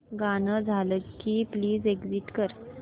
गाणं झालं की प्लीज एग्झिट कर